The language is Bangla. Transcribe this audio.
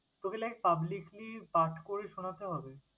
তোকে like publicly পাঠ করে শোনাতে হবে?